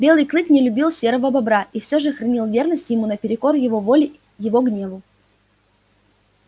белый клык не любил серого бобра и всё же хранил верность ему наперекор его воле его гневу